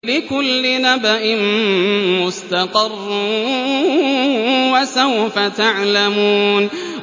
لِّكُلِّ نَبَإٍ مُّسْتَقَرٌّ ۚ وَسَوْفَ تَعْلَمُونَ